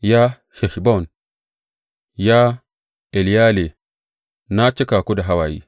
Ya Heshbon, ya Eleyale, na cika ku da hawaye!